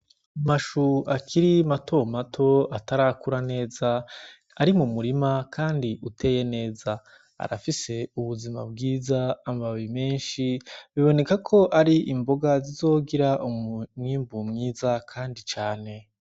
Amashu akiri matomato atarakura neza ari mu murima, kandi uteye neza, arafise ubuzima bwiza amababi menshi, biboneka ko ari imboga zizogira umumwimbu mwiza, kandi cane.